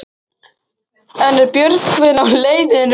En er Björgvin á leiðinni út?